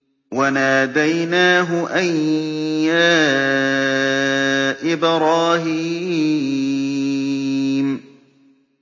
وَنَادَيْنَاهُ أَن يَا إِبْرَاهِيمُ